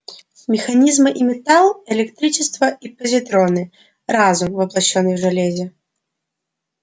механизмы и металл электричество и позитроны разум воплощённый в железе